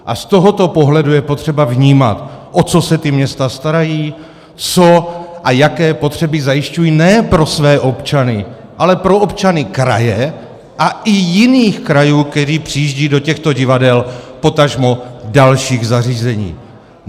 A z tohoto pohledu je potřeba vnímat, o co se ta města starají, co a jaké potřeby zajišťují ne pro své občany, ale pro občany kraje a i jiných krajů, kteří přijíždějí do těchto divadel, potažmo dalších zařízení.